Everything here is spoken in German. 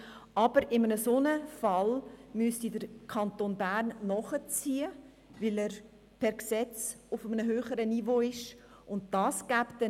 In einem solchen Fall müsste der Kanton Bern nachziehen, da er sich per Gesetz auf einem höheren Niveau befindet.